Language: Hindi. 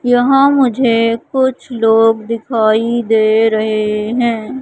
यहां मुझे कुछ लोग दिखाई दे रहे है।